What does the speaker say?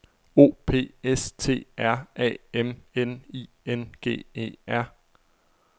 O P S T R A M N I N G E R